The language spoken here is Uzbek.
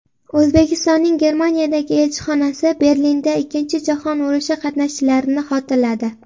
O‘zbekistonning Germaniyadagi elchixonasi Berlinda Ikkinchi jahon urushi qatnashchilarini xotirladi.